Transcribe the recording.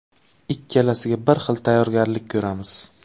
Ikkalasiga bir xil tayyorgarlik ko‘ramiz.